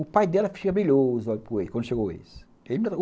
O pai dela ficava brilhoso quando chegou o ex.